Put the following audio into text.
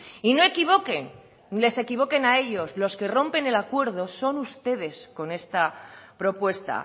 y no equivoque ni les equivoquen a ellos los que rompen el acuerdo son ustedes con esta propuesta